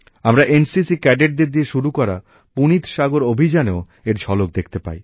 আমরা NCC cadet দের দিয়ে শুরু করা পুনিত সাগর অভিযানেও এর ঝলক দেখতে পাই